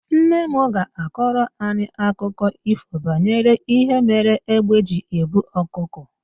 Nne m ga-akọrọ anyị akụkọ ífò banyere ihe mere égbé ji ebu ọkụkọ.